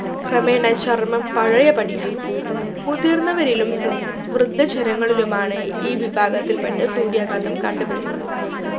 ക്രമേണ ചർമം പഴയ പടിയാവും മുതിർന്നവരിലും വൃ വൃദ്ധജനങ്ങളിലുമാണ് ഈ വിഭാകത്തിൽ പെട്ട സൂര്യാഘാതം കണ്ടുവരുന്നത്